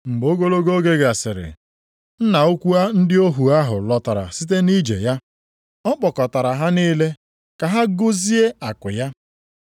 “Mgbe ogologo oge gasịrị, nna ukwu ndị ohu ahụ lọtara site nʼije ya. Ọ kpọkọtara ha niile ka ha gụzie akụ ya.